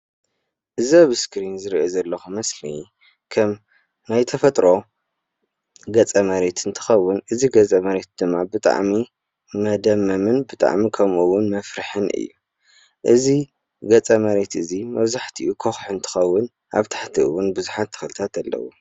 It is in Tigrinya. እዚ አብ ስክሪን ዝሪኦ ዘለኹ ምስሊ ከም ናይ ተፈጥሮ ገፀ መሬት እንትኸውን፣ እዚ ገፀ መሬት ድማ ብጣዕሚ መደመምን ብጣዕሚ ከምኡ እውን መፍርሕን እዩ። እዚ ገፀ መሬት እዚ መብዛሕትኡ ኮውሒ እንትኸውን አብ ታሕትኡ እውን ብዙሓት ተኽልታት አለው።